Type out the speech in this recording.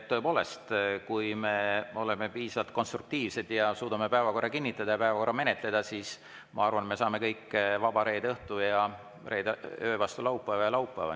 Tõepoolest, kui me oleme piisavalt konstruktiivsed ja suudame päevakorra kinnitada ja päevakorra menetleda, siis ma arvan, et me kõik saame vaba reede õhtu ja öö vastu laupäeva ja vaba laupäeva.